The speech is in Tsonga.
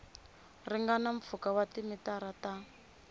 ringana mpfhuka wa timitara ta